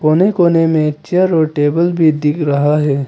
कोने कोने में चेयर और टेबल भी दिख रहा है।